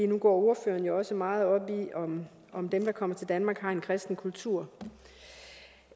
nu går ordføreren jo også meget op i om dem der kommer til danmark har en kristen kultur